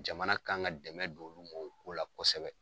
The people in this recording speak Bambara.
Jamana kan ka dɛmɛ don olu ma o ko la kɔsɛbɛ.